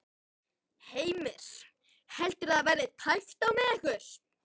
Heimir: Heldurðu að það verði tæpt á með ykkur?